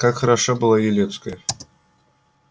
как хороша была елецкая